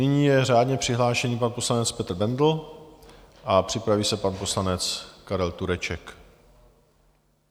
Nyní je řádně přihlášen pan poslanec Petr Bendl a připraví se pan poslanec Karel Tureček.